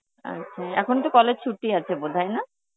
আচ্ছা, এখন তো college ছুটি আছে বোধ হয়, না?